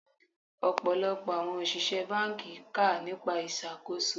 Ọ̀pọ̀lọpọ̀ àwọn òṣìṣẹ́ báńkì kà nípa ìṣàkóso.